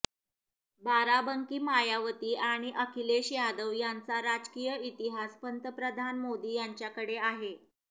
बाराबंकी मायावती आणि अखिलेश यादव यांचा राजकीय इतिहास पंतप्रधान मोदी यांच्याकडे आहे